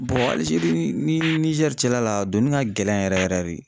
Algérie ni nii Niger cɛla la a donni ŋa gɛlɛn yɛrɛ yɛrɛ de.